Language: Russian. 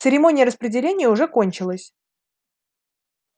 церемония распределения уже кончилась